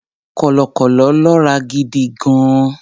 Kọ̀lọ̀kọ̀lọ̀ lọ́ra gidi gan-an.